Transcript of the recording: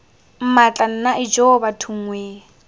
mmatla nna ijoo bathong wee